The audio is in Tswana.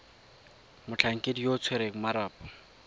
motlhankedi yo o tshwereng marapo